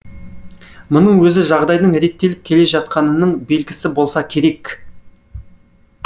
мұның өзі жағдайдың реттеліп келе жатқанының белгісі болса керек